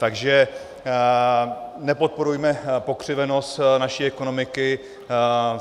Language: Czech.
Takže nepodporujme pokřivenost naší ekonomiky.